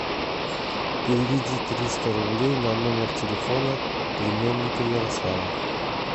переведи триста рублей на номер телефона племянника ярослава